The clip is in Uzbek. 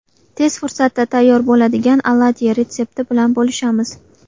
Tez fursatda tayyor bo‘ladigan oladyi retsepti bilan bo‘lishamiz.